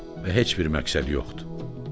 Və heç bir məqsəd yoxdur.